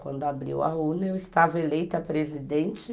Quando abriu a urna, eu estava eleita presidente.